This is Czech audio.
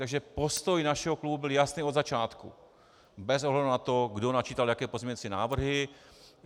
Takže postoj našeho klubu byl jasný od začátku bez ohledu na to, kdo načítal jaké pozměňovací návrhy.